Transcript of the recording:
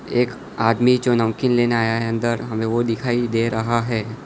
एक आदमी जो नमकीन लेने आया है अंदर हमे वो दिखाई दे रहा है।